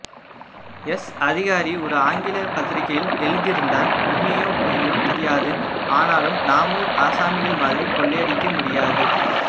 S அதிகாரி ஒரு ஆங்கில பத்திரிகையில் எழுதியிருந்தார் உண்மையோ பொய்யோ தெரியாது ஆனாலும் ணாமூர் ஆசாமிகள் மாதிரி கொள்ளையடிக்கமுடியாது